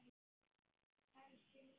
Kannski lýsi?